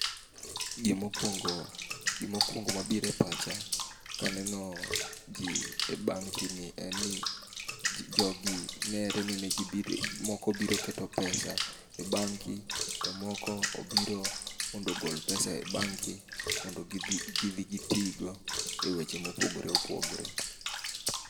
Gimokwongo, gimokwongo mabire pacha kaneno ji e bank ni en ni jogi nere ni ne moko biro keto pesa e banki to moko obiro mondo ogol pesa e banki mondo gidhi gitigo e weche mopogore opogore.